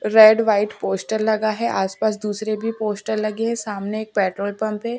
red white poster लगा है आसपास दुसरे भी पोस्टर भी लगे हैं सामने एक पेट्रोल पंप है--